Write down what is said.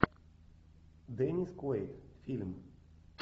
деннис куэйд фильм